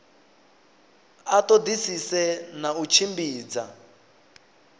a ṱoḓisise na u tshimbidza